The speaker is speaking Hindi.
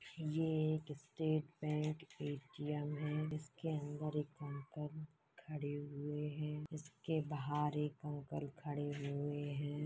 ये एक स्टेट बैंक ए.टी.एम. है इसके अंदर एक अंकल खड़े हुए है इसके बाहर एक अंकल खड़े हुए है।